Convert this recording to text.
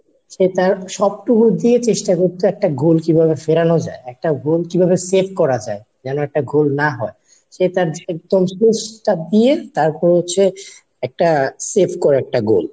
সে তার সবটুকু দিয়ে চেষ্টা করতো একটা goal কিভাবে ফেরানো যায়। একটা goal কিভাবে set করা যায়। যেন একটা গোল না হয়। সে তার একদম space টা দিয়ে তারপর হচ্ছে একটা safe করা একটা গোল।